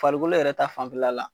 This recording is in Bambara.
Farikolo yɛrɛ ta fanfɛla la